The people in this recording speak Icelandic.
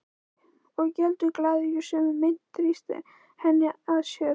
Og geldur glaður í sömu mynt, þrýstir henni að sér.